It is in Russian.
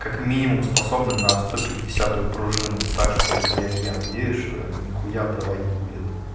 как минимум способны на сто пятидесятую пружину так что блять я надеюсь что нихуя обрывать не будет